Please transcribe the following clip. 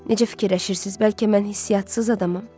Necə fikirləşirsiz, bəlkə mən hisssiz adamam?